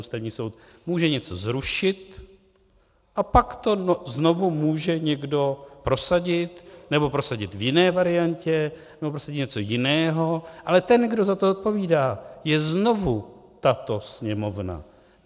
Ústavní soud může něco zrušit a pak to znovu může někdo prosadit, nebo prosadit v jiné variantě, nebo prosadit něco jiného, ale ten, kdo za to odpovídá, je znovu tato Sněmovna.